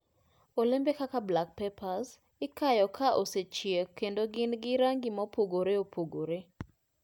Olembe kaka black pepper ikayo ka osechiek kendo gin gi rangi mopogore opogore.